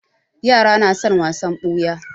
Yara na son wasan ɓuya.